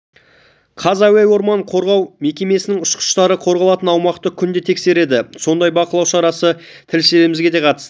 қаз әуе орман қорғау мекемесінің ұшқыштары қорғалатын аумақты күнде тексереді сондай бақылау шарасына тілшілеріміз де қатысты